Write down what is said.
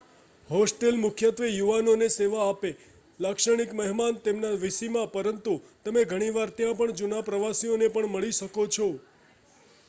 hostel મુખ્યત્વે યુવાનોને સેવા આપે-લાક્ષણિક મહેમાન તેમના વીસીમાં-પરંતુ તમે ઘણી વાર ત્યાં પણ જૂના પ્રવાસીઓને પણ મળી શકો છો